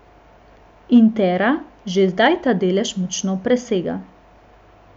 Intera že zdaj ta delež močno presega.